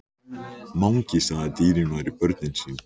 Mangi sagði að dýrin væru börnin sín.